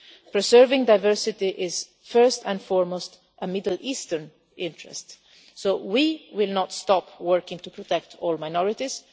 Preserving diversity is, first and foremost, a Middle Eastern interest, so we will not stop working to protect all minorities.